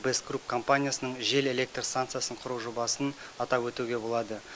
бест групп компаниясының жел электр станциясын құру жобасын атап өтуге болады